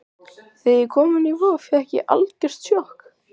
Þegar ég kom inn á Vog fékk ég algjört sjokk.